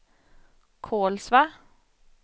Kolsva